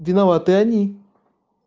виноваты они